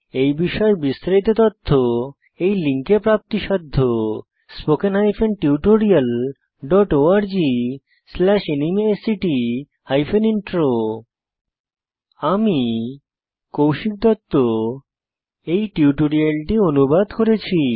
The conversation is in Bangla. এই বিষয়ে বিস্তারিত তথ্য এই লিঙ্কে প্রাপ্তিসাধ্য spoken hyphen tutorial dot org slash NMEICT hyphen intro আমি কৌশিক দত্ত এই টিউটোরিয়ালটি অনুবাদ করেছি